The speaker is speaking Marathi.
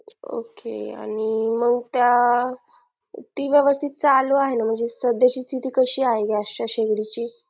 ok आणि मग त्या ती व्यवस्थित चालू आहे ना म्हणजे सध्याची स्थिती कशी आहे gas च्या शेगडीची